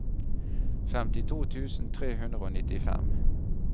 femtito tusen tre hundre og nittifem